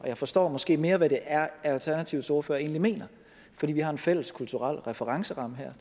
jeg forstår måske mere hvad det er alternativets ordfører egentlig mener fordi vi har en fælles kulturel referenceramme her